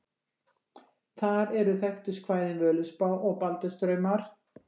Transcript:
Þar eru þekktust kvæðin Völuspá og Baldurs draumar.